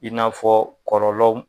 I n'a fɔ kɔlɔlɔw.